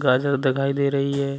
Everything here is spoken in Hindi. गाजर दिखाई दे रही है।